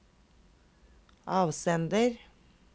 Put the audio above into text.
avsender